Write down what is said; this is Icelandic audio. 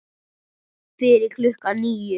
Fyrir klukkan níu.